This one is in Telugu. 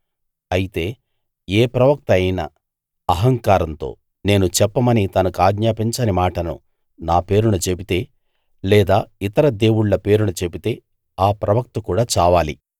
అయితే ఏ ప్రవక్త అయినా అహంకారంతో నేను చెప్పమని తనకాజ్ఞాపించని మాటను నా పేరున చెబితే లేదా ఇతర దేవుళ్ళ పేరున చెబితే ఆ ప్రవక్త కూడా చావాలి